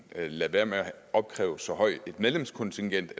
lade være med at opkræve så højt et medlemskontingent